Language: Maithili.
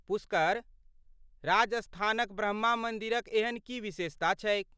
पुष्कर, राजस्थानक ब्रह्मा मन्दिरक एहन की विशेषता छैक ।